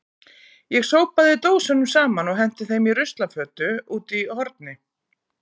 Ég sópaði dósunum saman og henti þeim í ruslafötu úti í horni.